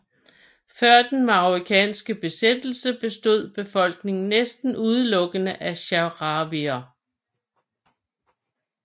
Før den marokkanske besættelse bestod befolkningen næsten udelukkende af sahrawier